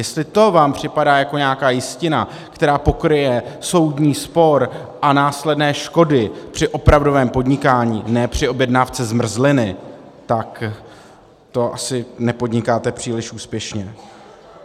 Jestli to vám připadá jako nějaká jistina, která pokryje soudní spor a následné škody při opravdovém podnikání, ne při objednávce zmrzliny, tak to asi nepodnikáte příliš úspěšně.